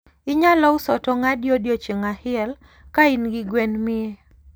Inyalo uso tong adi odiochieng ahiel ka in gi gwen mia?